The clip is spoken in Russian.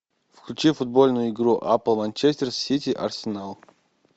включи футбольную игру апл манчестер сити арсенал